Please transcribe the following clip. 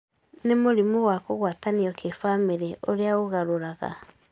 nĩ mũrimũ wa kũgwatanio kĩbamĩrĩ ũrĩá ũgarũraga